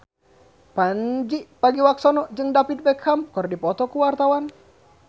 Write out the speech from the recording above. Pandji Pragiwaksono jeung David Beckham keur dipoto ku wartawan